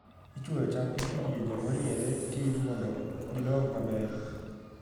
Ichwoyo cham e kidienje moriere tir mondo gidong maber.